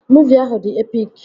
Muuvi ahụ dị epik